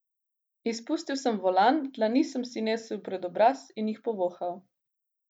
Izpustil sem volan, dlani sem si nesel pred obraz in jih povohal.